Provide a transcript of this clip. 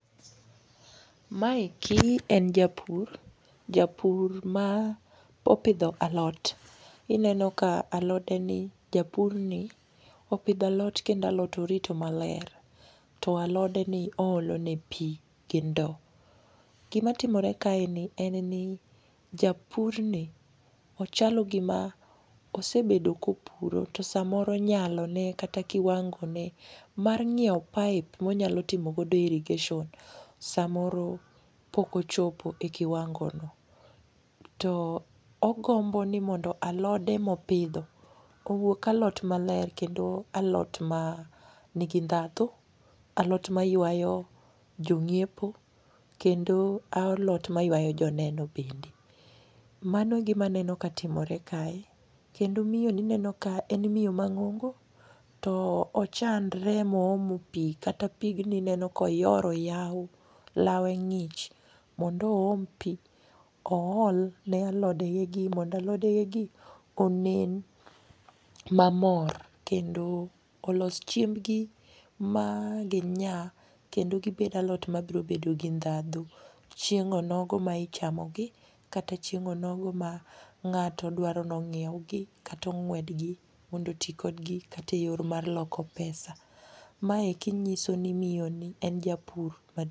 Maeki en japur, japur ma opidho alot ineno ka alodeni japurni opidho alot kendo alot orito maler to alodeni oolone pi gi ndo. Gimatimore kaeni en ni japurni ochalo gima osebedo kopuro to samoro nyalone kata kiwangone mar ng'ieo pipe monyalotimogodo irrigation samoro pok ochopo e kiwangono. To ogombo ni mondo alode mopidho owuok alot maler kendo alot manigi ndhadhu alot maywayo jong'iepo kendo alot mayuayo joneno bende. Mano e gimaneno katimore kae kendo miyoni ineno ka en miyo mang'ongo to ochandre moomo pi kata pigni ineno koyoro yawo lawe ng'ich mondo oom pi oolne alodegegi mondo alodegegi onen mamor kendo olos chiembgi maginya kendo gibed alot mabirobedo gi ndhadhu chieng' onogo maichamogi kata chieng' onogo ma ng'ato dwaro nong'iewgi katong'wedgi mondo oti kodgi kata e yor mar loko pesa. Maeki ng'iso ni miyoni en japur maduong'.